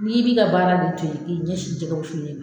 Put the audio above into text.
N'i bi ka baara k'i ɲɛsin jɛkɛ wusulen ma